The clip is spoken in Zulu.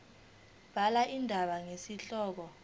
bhala indaba ngesihloko